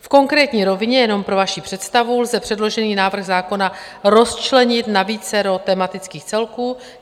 V konkrétní rovině - jenom pro vaši představu - lze předložený návrh zákona rozčlenit na vícero tematických celků.